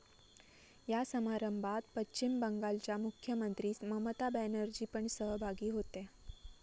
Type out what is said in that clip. या समारंभात पश्चिम बंगालच्या मुख्यमंत्री ममता बॅनर्जी पण सहभागी होत्या.